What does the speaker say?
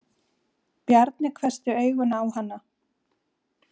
Bjarni hvessti augun á hana.